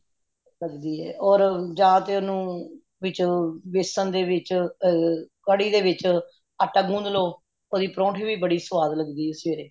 ਲੱਗਦੀ ਏ ਔਰ ਜਾਤੇ ਓਨੁ ਵਿੱਚ ਬੇਸਨ ਦੇ ਵਿਚ ਆ ਕੜੀ ਦੇ ਵਿਚ ਆਟਾ ਗੁੰਧਲੋ ਓਹਦੇ ਪਰਾਉਂਟ ਵੀ ਸਵੱਧ ਲੱਗਦੀ ਏ ਸਵੇਰੇ